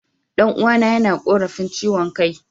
Dan'uwana yana korafin chiwon Kai.